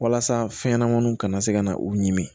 Walasa fɛnɲɛnɛmaninw kana se ka na u ɲimi